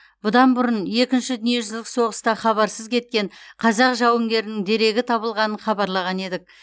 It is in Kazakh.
бұдан бұрын екінші дүниежүзілік соғыста хабарсыз кеткен қазақ жауынгерінің дерегі табылғанын хабарлаған едік